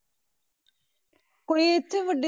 ਕੋਈ ਇੱਥੇ ਵੱਡੀ